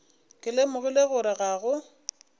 ke lemogile gore ga go